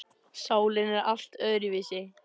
Sálin er allt öðruvísi.